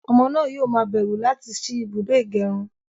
Ọmọ náà yóò ma bẹ̀rù láti sí ibùdó ìgẹrun